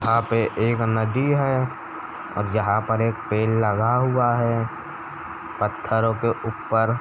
यहाँ पे एक नदी है और यहाँ पर एक पेड़ लगा हुआ है। पत्थरो के ऊपर --